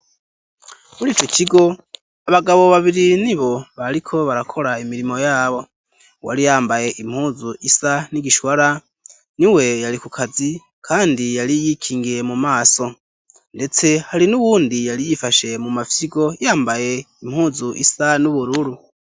Mur'ico kigo abagabo babiri ni bo bariko barakora imirimo yabo ,uwari yambaye impuzu isa n'igishwara, ni we yari ku kazi kandi yari yikingiye mu maso ,ndetse hari n'uwundi yari yifashe mu mafyigo yambaye impuzu isa n'ubururu.